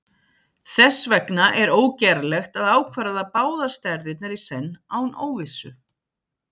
þess vegna er ógerlegt að ákvarða báðar stærðirnar í senn án óvissu